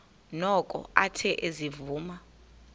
noko athe ezivuma